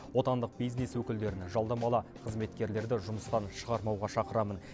отандық бизнес өкілдерін жалдамалы қызметкерлерді жұмыстан шығармауға шақырамын